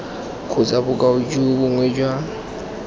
kgotsa bokoa jo bongwe jwa